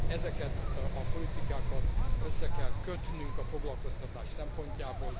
Ezeket a politikákat össze kell kötnünk a foglalkoztatás szempontjából.